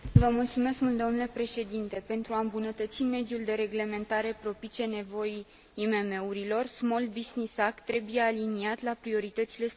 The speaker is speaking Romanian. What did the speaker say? Pentru a îmbunătăți mediul de reglementare propice nevoii IMM urilor, Small Business Act trebuie aliniat la prioritățile Strategiei Europa